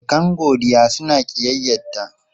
Surukan Godiya suna ƙiyyayta.